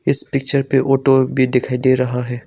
इस पिक्चर पे ऑटो भी दिखाई दे रहा है।